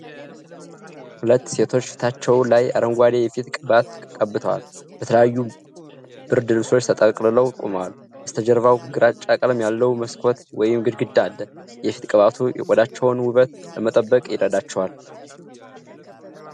ሁለት ሴቶች ፊታቸው ላይ አረንጓዴ የፊት ቅባት ቀብተው፣ በተለያዩ ብርድ ልብሶች ተጠቅልለው ቆመዋል። በበስተጀርባው ግራጫ ቀለም ያለው መስኮት ወይም ግድግዳ አለ። የፊት ቅባቱ የቆዳቸውን ውበት ለመጠበቅ ይረዳቸዋል?